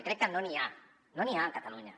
i crec que no n’hi ha no n’hi ha a catalunya